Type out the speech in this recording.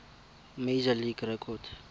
major league record